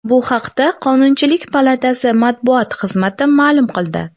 Bu haqda Qonunchilik palatasi matbuot xizmati ma’lum qildi .